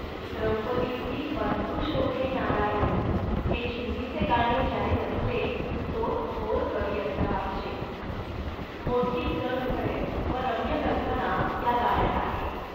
द्रौपदीसी बंधु शोभे नारायण'.हे चिंधीचे गाणे ज्याने रचले तो थोर कवी असला पाहिजे. मोठी सहृदय व रम्य कल्पना या गाण्यात आहे